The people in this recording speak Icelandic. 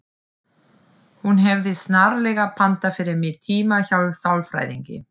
Hún hefði snarlega pantað fyrir mig tíma hjá sálfræðingi.